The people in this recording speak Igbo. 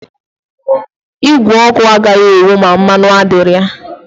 Igwe ọkụ agaghị enwu ma mmanụ adịghị ya